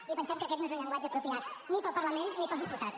i pensem que aquest no és un llenguatge apropiat ni per al parlament ni per als diputats